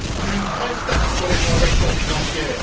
une vraie taxe sur les transactions financières